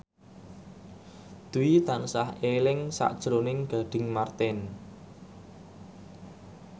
Dwi tansah eling sakjroning Gading Marten